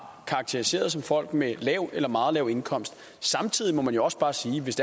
karakteriseret som folk med lav eller meget lav indkomst samtidig må man jo også bare sige at hvis